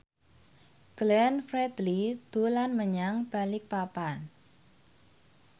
Glenn Fredly dolan menyang Balikpapan